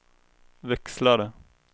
växlare